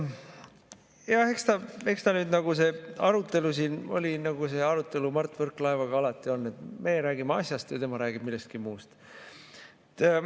Jah, eks see arutelu siin oli, nagu see arutelu Mart Võrklaevaga alati on, et meie räägime asjast ja tema räägib millestki muust.